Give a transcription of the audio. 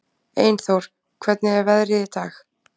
Einþór, hvernig er veðrið í dag?